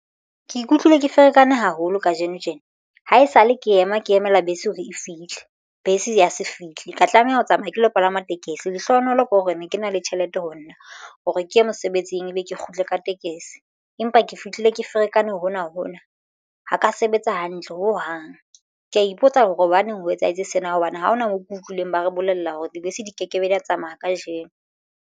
Ke ikutlwile ke ferekane haholo kajeno tjena ha esale ke ema ke emela bese hore e fihle bese ya se fihle ka tlameha ho tsamaya ke lo palama tekesi lehlohonolo ke hore ne ke na le tjhelete ho nna hore ke ye mosebetsing ebe ke kgutle ka tekesi empa ke fihlile ke ferekane hona hona ho ka sebetsa hantle ho hang. Ke ya ipotsa hore hobaneng ho etsahetse sena hobane ha hona moo ke utlwileng. Ba re bolella hore dibese di ke ke be di ya tsamaya kajeno.